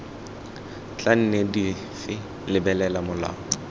tla nne dife lebelela molao